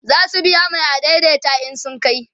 zasu biya Mai adaidaita in sun kai